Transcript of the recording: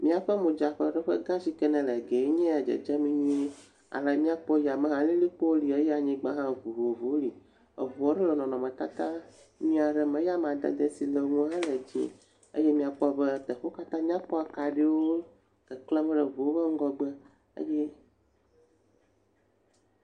M]aƒe modzakaɖeƒe gã si ke ne Gɛ nbya ya ne dzedzem nyuie. Ale m]akpɔ yame hã alilikpowo li eye anyiogba hã vovovowo li. Eŋu aɖe le nɔnɔmetata ʋi aɖe me eye amadede si le eŋu l;a hã le dzie eye m]akpɔ be teƒe wo katã nya kpɔ. Kaɖiwo keklem le eŋuwo ƒe ŋgɔgbe.